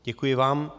Děkuji vám.